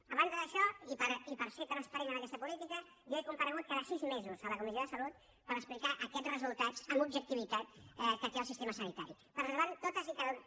a banda d’això i per ser transparent en aquesta política jo he comparegut cada sis mesos a la comissió de salut per explicar aquests resultats amb objectivitat que té el sistema sanitari preservant totes i cadascuna